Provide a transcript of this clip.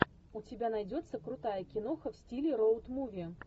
у тебя найдется крутая киноха в стиле роуд муви